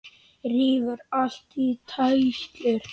Rífur allt í tætlur.